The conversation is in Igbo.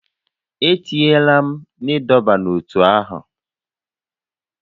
E tinyela m na ịdọba n'ótú ahụ!